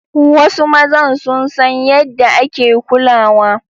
Wasu mazan sun san yaɗda ake kulawa.